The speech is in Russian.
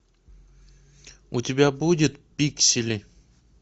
у тебя будет пиксели